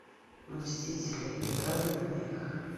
мстители игра для двоих